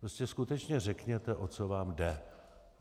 Prostě skutečně řekněte, o co vám jde.